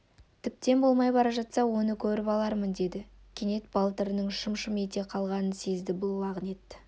тіптен болмай бара жатса оны көріп алармын деді кенет балтырының шым-шым ете қалғанын сезді бұл лағнет